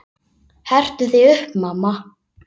Hertu þig upp, mamma.